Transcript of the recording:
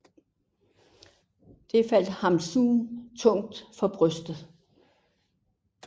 Det faldt Hamsun tungt for brystet